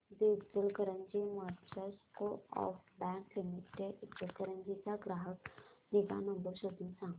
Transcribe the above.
दि Ichalkaranji merchants co-op bank limited Ichalkaranji चा ग्राहक निगा नंबर शोधून सांग